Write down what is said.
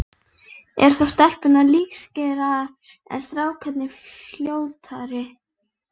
Eru þá stelpurnar lífseigari, en strákarnir fljótari?